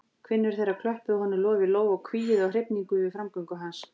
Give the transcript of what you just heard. Kvinnur þeirra klöppuðu honum lof í lófa og hvíuðu af hrifningu yfir framgöngu hans.